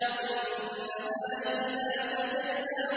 وَالنَّهَارِ إِذَا تَجَلَّىٰ